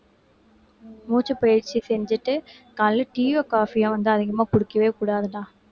மூச்சுப்பயிற்சி செஞ்சுட்டு காலையில tea யோ coffee யோ வந்து அதிகமா குடிக்கவே கூடாதுடா